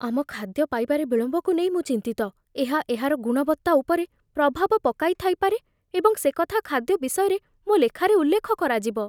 ଆମ ଖାଦ୍ୟ ପାଇବାରେ ବିଳମ୍ବକୁ ନେଇ ମୁଁ ଚିନ୍ତିତ। ଏହା ଏହାର ଗୁଣବତ୍ତା ଉପରେ ପ୍ରଭାବ ପକାଇଥାଇପାରେ ଏବଂ ସେକଥା ଖାଦ୍ୟ ବିଷୟରେ ମୋ ଲେଖାରେ ଉଲ୍ଲେଖ କରାଯିବ।